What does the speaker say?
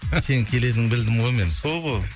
сенің келетініңді білдім ғой мен сол ғой